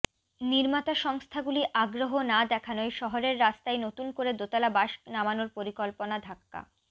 নির্মাতা সংস্থা গুলি আগ্রহ না দেখানোয় শহরের রাস্তায় নতুন করে দোতলা বাস নামানোর পরিকল্পনা ধাক্কা